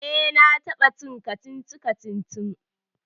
eh na taba cin kacici-kacici